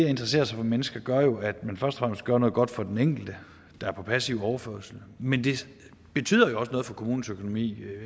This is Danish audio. at interessere sig for mennesker gør jo at man først og fremmest gør noget godt for den enkelte der er på passiv overførsel men det betyder også noget for kommunens økonomi